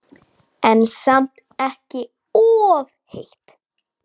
En samt ekki of heitt.